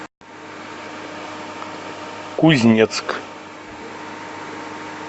кузнецк